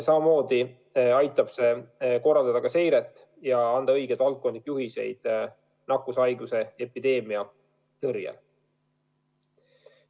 Samamoodi aitab see korraldada seiret ja anda õigeid valdkondlikke juhiseid nakkushaiguse epideemia tõrjel.